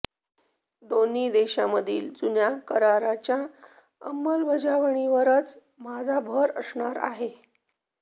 दोन्ही देशांमधील जुन्या करारांच्या अंमलबजावणीवरच माझा भर असणार आहे